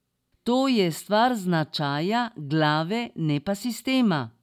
To je stvar značaja, glave, ne pa sistema.